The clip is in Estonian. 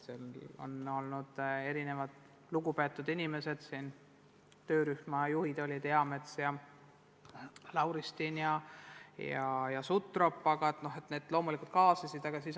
Osalenud on väga lugupeetud inimesed, töörühma juhid olid Eamets ja Lauristin ja Sutrop, kes loomulikult kaasasid ka teisi.